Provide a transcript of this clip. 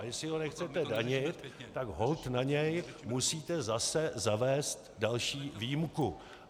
A jestli ho nechcete danit, tak holt na něj musíte zase zavést další výjimku.